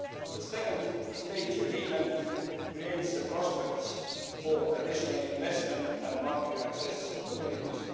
The second stage agreement creates the prospects for additional investment and market access opportunities.